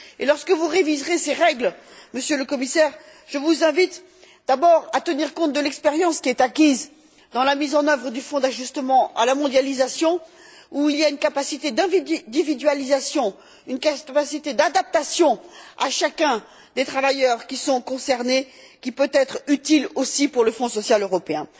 Et lorsque vous réviserez ces règles, Monsieur le Commissaire, je vous invite d'abord à tenir compte de l'expérience qui est acquise dans la mise en œuvre du fonds d'ajustement à la mondialisation où il y a une capacité d'individualisation, une capacité d'adaptation à chacun des travailleurs qui sont concernés, qui peut être utile aussi pour le Fonds social européen.